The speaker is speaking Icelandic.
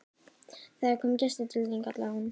Það er kominn gestur til þín, kallaði hún.